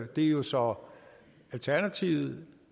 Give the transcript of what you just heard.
det er jo så alternativet og